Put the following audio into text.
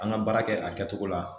An ka baara kɛ a kɛcogo la